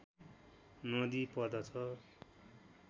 नदी पर्दछ